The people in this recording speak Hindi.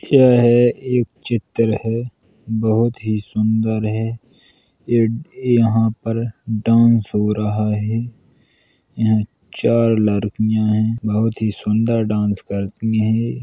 यह एक चित्र है। बोहोत ही सुन्दर है। यहाँ पर डांस हो रहा है। यहाँ चार लड़कियाँ हैं। बोहोत ही सुन्दर डांस करती हैं।